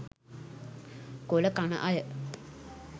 කොල කන අය